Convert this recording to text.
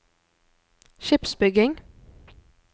skipsbygging